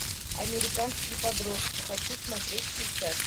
американские подростки хочу смотреть сейчас